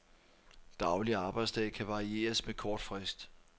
Daglig arbejdsdag kan varieres med kort frist.